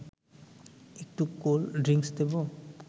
একটু cold drinks দেব